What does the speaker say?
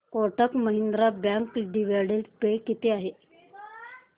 Kotak Mahindra bank dividend pay किती आहे